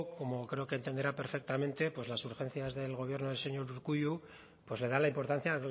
como creo que entenderá perfectamente pues las urgencias del gobierno del señor urkullu pues le da la importancia